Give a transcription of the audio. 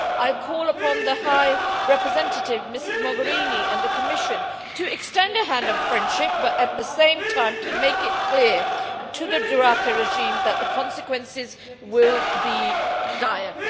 I call upon the High Representative, Mrs Mogherini, and the Commission to extend a hand of friendship but, at the same time, to make it clear to the Duterte regime that the consequences will be dire.